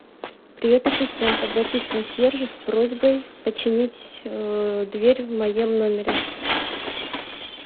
привет ассистент обратись к консьержу с просьбой починить дверь в моем номере